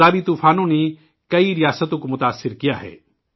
ان دونوں طوفانوں سے کئی ریاستیں متاثر ہوئی ہیں